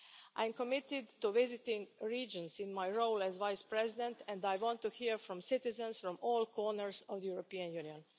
I am committed to visiting regions in my role as Vice President, and I want to hear from citizens from all corners of the European Union.